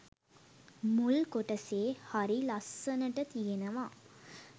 මුල් කොටසේ හරි ලස්සනට තියෙනවා.